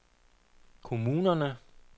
kommunerne